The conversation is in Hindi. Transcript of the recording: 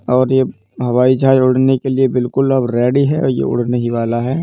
और ये हवाई जहाज उड़ने के लिए अब बिल्कुल रेडी है और यह उड़ने ही वाला है ।